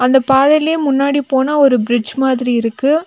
அந்த பாதையிலே முன்னாடி போனா ஒரு பிரிட்ஜ் மாதிரி இருக்கு.